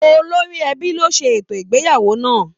Olóri ẹbí ló se ètò ìgbéyàwó náà.